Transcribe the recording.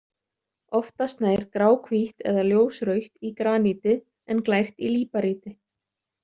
Oftast nær gráhvítt eða ljósrautt í graníti en glært í líparíti.